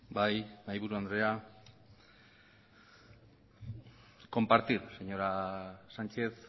bai mahaiburu andrea compartir señora sánchez